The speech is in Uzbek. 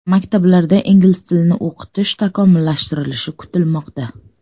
Maktablarda ingliz tilini o‘qitish takomillashtirilishi kutilmoqda.